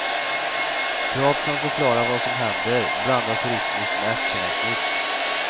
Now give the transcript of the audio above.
Prat som förklarar vad som händer blandas rytmiskt med actionavsnitt.